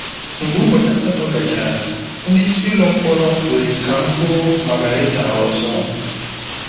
Mgbe ụbọchị asatọ gachara, ndị isi ụlọ mkpọrọ kwere ka m hụ Margaritha ọzọ.